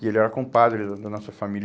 E ele era compadre da nossa família.